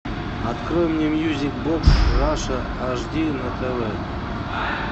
открой мне мьюзик бокс раша аш ди на тв